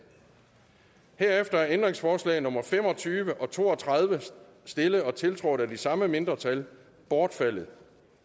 herefter er ændringsforslag nummer fem og tyve og to og tredive stillet og tiltrådt af de samme mindretal bortfaldet